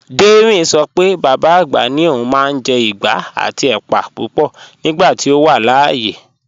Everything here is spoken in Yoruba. Dẹ́rìn ṣọ pé bàbá agbá ni ọ̀un máa n jẹ́ ìgbà àti èpà púpọ̀ nígbàtí ọ wà láàyè